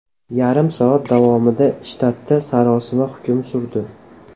Yarim soat davomida shtatda sarosima hukm surdi.